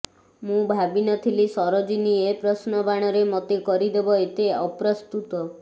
ମୁଁ ଭାବିନଥିଲି ସରୋଜିନୀ ଏ ପ୍ରଶ୍ନ ବାଣରେ ମୋତେ କରିଦେବ ଏତେ ଅପ୍ରସ୍ତୁତ